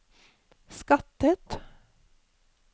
skattet